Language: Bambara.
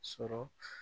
Sɔrɔ